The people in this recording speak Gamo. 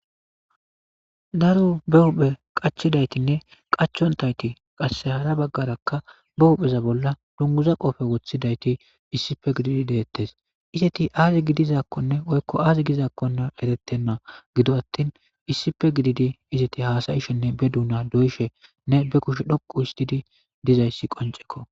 Daro be huhphe qachidaytinne qachontayti qasse hara baggarakka ba huhpheza bolla dunguza qoofe wothidayti issife gididi deettes iseti aazi gidizaakkonne oykko aazi gizakkonna eretenna gido attin issipe gididi iseti haasayishenne be duuna doyishenne be kushe dhoqu histidi dizayssi qoncekko.